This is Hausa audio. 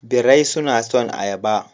Birai suna son ayaba.